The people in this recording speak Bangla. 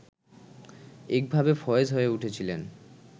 একভাবে ফয়েজ হয়ে উঠেছিলেন